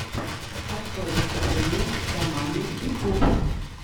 открой выступление игромании ютюб